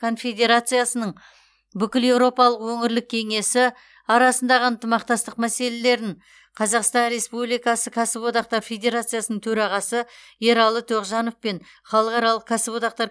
конфедерациясының бүкілеуропалық өңірлік кеңесі арасындағы ынтымақтастық мәселелерін қазақстан республикасы кәсіподақтар федерациясының төрағасы ералы тоғжанов пен халықаралық кәсіподақтар